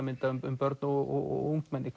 dæmis börn og ungmenni